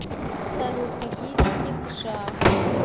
салют какие деньги в сша